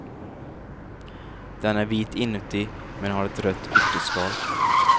Den är vit inuti men har ett rött ytterskal.